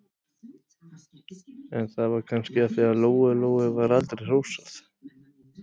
En það var kannski af því að Lóu-Lóu var aldrei hrósað.